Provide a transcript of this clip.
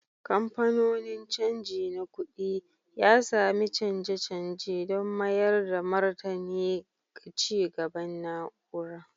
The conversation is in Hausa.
Kamfanonin canji na kuɗi, ya sami canje-canje don mayar da martani ga ci gaban na'ura